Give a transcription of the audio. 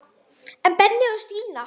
En Benni og Stína?